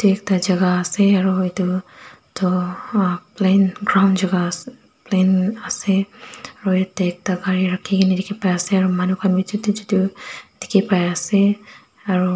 ekta jaka ase aro edu tu plain ground jaka plain ase aro yatae ekta gari rakhikaena dikhipaiase aro manu khan bi chutu chutu dikhipaiase aru.